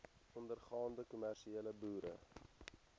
ondergaande kommersiële boere